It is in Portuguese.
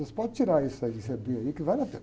Vocês podem tirar isso aí, esse, que vale a pena.